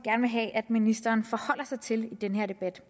vil have at ministeren forholder sig til i den her debat